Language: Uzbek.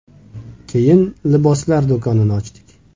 Keyin liboslar do‘konini ochdik.